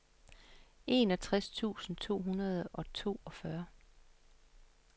enogtres tusind to hundrede og toogfyrre